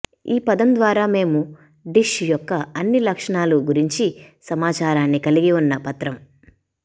ఈ పదం ద్వారా మేము డిష్ యొక్క అన్ని లక్షణాల గురించి సమాచారాన్ని కలిగి ఉన్న పత్రం